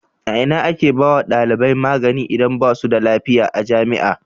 A ina ake ba wa dalibai magani idan basu da lafiya a jami'a?